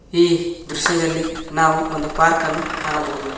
ಈ ದೃಶ್ಯದಲ್ಲಿ ನಾವು ಒಂದು ಪಾರ್ಕನ್ನು ಕಾಣಬಹುದು.